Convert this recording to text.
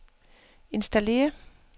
installér